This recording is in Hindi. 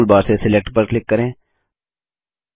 ड्राइंग टूलबार से सिलेक्ट पर क्लिक करें